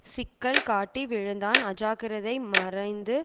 சிக்கல் காட்டி விழுந்தான் அஜாக்கிரதை மறைந்து